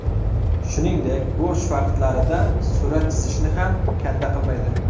Shuningdek, bo‘sh vaqtlarida surat chizishni ham kanda qilmaydi.